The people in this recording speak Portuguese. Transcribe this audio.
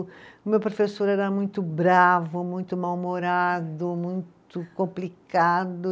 O meu professor era muito bravo, muito mal-humorado, muito complicado.